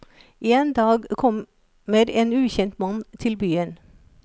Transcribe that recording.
En dag kommer en ukjent mann til byen.